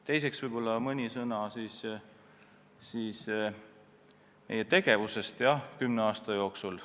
Teiseks võib-olla mõni sõna meie tegevusest tõesti kümne aasta jooksul.